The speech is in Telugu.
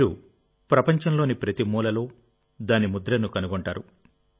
మీరు ప్రపంచంలోని ప్రతి మూలలో దాని ముద్రను కనుగొంటారు